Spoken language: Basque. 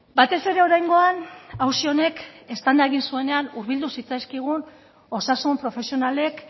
batez ere oraingoan auzi honek eztanda egin zuenean urbildu zitzaizkigun osasun profesionalek